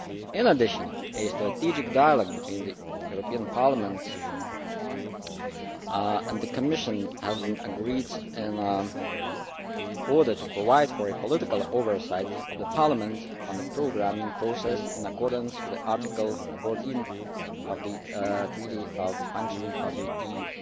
In addition, a strategic dialogue between the European Parliament and the Commission has been agreed in order to provide for political oversight of the Parliament on the programming process, in accordance with Article 14 of the Treaty on the Functioning of the EU.